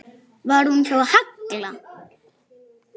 Var hún hjá Halla?